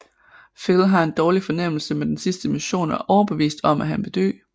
Phil har en dårlig fornemmelse med den sidste mission og er overbevist om at han vil dø